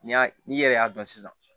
N'i y'a n'i yɛrɛ y'a dɔn sisan